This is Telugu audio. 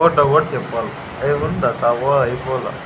ఫటాఫట్ చెప్పల ఏమున్న అయిపోవల్ల.